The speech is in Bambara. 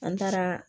An taara